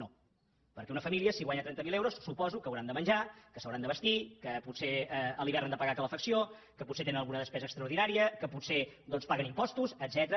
no perquè una família si guanya trenta mil euros suposo que deuen haver de menjar que es deuen haver de vestir que potser a l’hivern han de pagar calefacció que potser tenen alguna despesa extraordinària que potser paguen impostos etcètera